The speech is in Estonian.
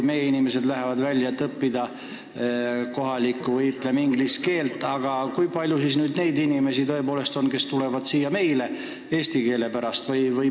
Meie inimesed lähevad tõepoolest välismaale, et õppida kohalikku või inglise keelt, aga kui palju on neid, kes tulevad siia eesti keele pärast?